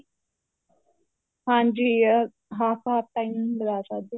ਹਾਂਜੀ ਅਹ half half timing ਲਗਾ ਸਕਦੇ